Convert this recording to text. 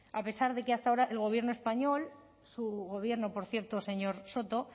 a pesar de que hasta ahora el gobierno español su gobierno por cierto señor soto